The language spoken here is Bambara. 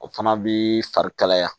O fana bi fari kalaya